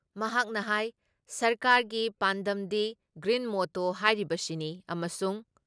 ꯃꯍꯥꯛꯅ ꯍꯥꯏ ꯁꯔꯀꯥꯔꯒꯤ ꯄꯥꯟꯗꯝꯒꯤ ꯒ꯭ꯔꯤꯟ ꯃꯣꯇꯣ ꯍꯥꯏꯔꯤꯁꯤꯅꯤ ꯑꯃꯁꯨꯡ